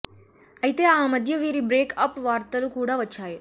ఐతే ఆ మధ్య వీరి బ్రేక్ అప్ వార్తలు కూడా వచ్చాయి